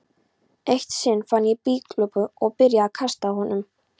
Eitt sinn fann ég blýklump og byrjaði að kasta honum.